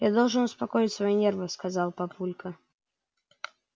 я должен успокоить свои нервы сказал папулька